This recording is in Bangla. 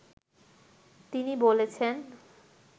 তিনি বলেছেন